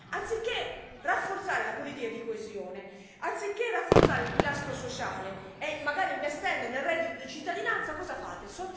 Anziché rafforzare la politica di coesione, anziché rafforzare il pilastro sociale, magari investendo nel reddito di cittadinanza, cosa fate?